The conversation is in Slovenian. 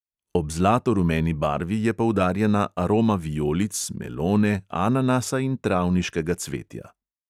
Ob zlato rumeni barvi je poudarjena aroma vijolic, melone, ananasa in travniškega cvetja.